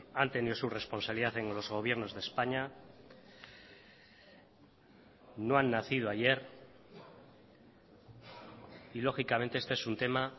han tenido su responsabilidad en los gobiernos de españa no han nacido ayer y lógicamente este es un tema